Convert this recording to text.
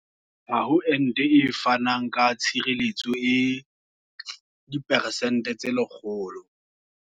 Ha ho ente e fanang ka tshireletso e diperesente tse 100.